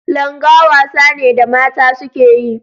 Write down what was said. Langa wasa ne da mata suke yi.